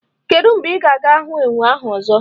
Kedụ mgbe ị ga-ahụ enwe ahụ ọzọ?